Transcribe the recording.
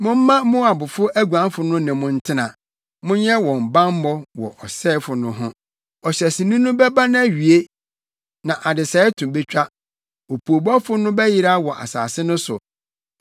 Momma Moabfo aguanfo no ne mo ntena; monyɛ wɔn bammɔ wɔ ɔsɛefo no ho.” Ɔhyɛsoni no bɛba nʼawie na adesɛe to betwa; opoobɔfo no bɛyera wɔ asase no so.